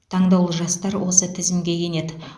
таңдаулы жастар осы тізімге енеді